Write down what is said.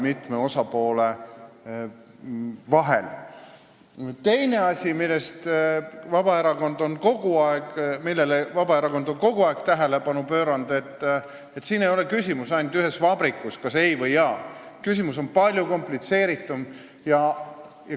Teine asi, millele Vabaerakond on kogu aeg tähelepanu juhtinud: siin ei ole küsimus ainult ühes vabrikus, et kas ei või jaa, küsimus on palju komplitseeritum.